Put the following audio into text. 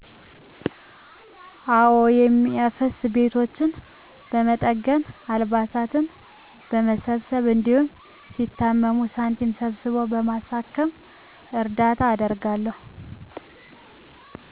አወ። የሚያፈስ ቤቶችን በመጠገን፣ አልባሳት በመሰብሰብ፣ እንዲሁም ሲታመሙ ሳንቲም ሰብስቦ በማሳከም እርዳታ አደርጋለሁ።